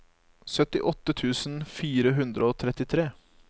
syttiåtte tusen fire hundre og trettitre